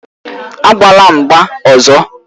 Agbala mgba ọzọ!